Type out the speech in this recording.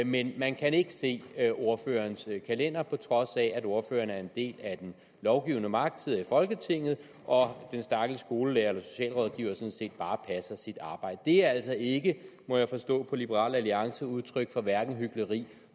men man kan ikke se ordførerens kalender på trods af at ordføreren er en del af den lovgivende magt og sidder i folketinget og den stakkels skolelærer eller socialrådgiver sådan set bare passer sit arbejde det er altså ikke må jeg forstå på liberal alliance udtryk for hverken hykleri